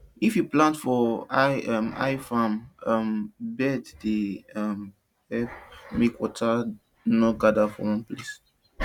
if you plant for high um high farm um bed e dey um help make water no gather for one place